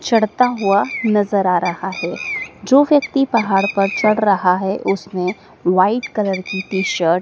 चढ़ता हुआ नजर आ रहा है जो व्यक्ति पहाड़ पर चढ़ रहा है उसनें व्हाइट कलर की टी_शर्ट --